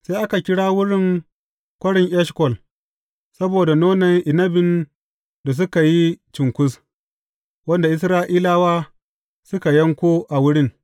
Sai aka kira wurin Kwarin Eshkol saboda nonon inabin da suka yi cunkus, wanda Isra’ilawa suka yanko a wurin.